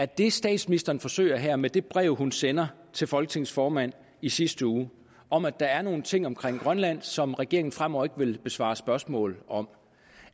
det statsministeren forsøger her med det brev hun sender til folketingets formand i sidste uge om at der er nogle ting omkring grønland som regeringen fremover ikke vil besvare spørgsmål om